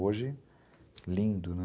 Hoje, lindo, né.